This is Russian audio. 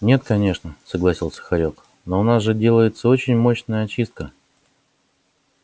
нет конечно согласился хорёк но у нас же делается очень мощная очистка